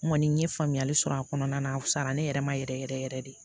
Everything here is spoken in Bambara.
N kɔni n ye faamuyali sɔrɔ a kɔnɔna na fisayara ne yɛrɛ ma yɛrɛ yɛrɛ yɛrɛ de